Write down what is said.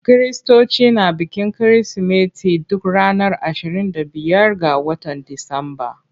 Kiristoci na bikin Kirsimeti duk ranar ashirin da biyar ga watan Disamba.